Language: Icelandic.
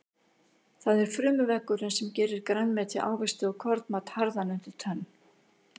Það er frumuveggurinn sem gerir grænmeti, ávexti og kornmat harðan undir tönn.